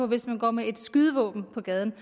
hvis man går med et skydevåben på gaden